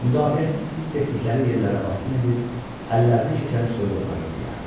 Müdafiəsiz hiss etdikləri yerlərə basqın edir, əllərinə keçəni soyub aparırdılar.